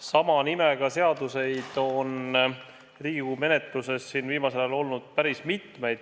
Sama nimega seaduseid on Riigikogu menetluses siin viimasel ajal olnud päris mitmeid.